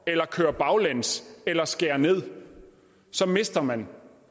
eller kører baglæns eller skærer ned så mister man